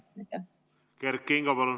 Kert Kingo, palun!